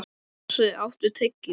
Jónsi, áttu tyggjó?